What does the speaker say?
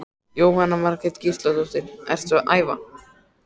Jóhanna Margrét Gísladóttir: Ertu að æfa?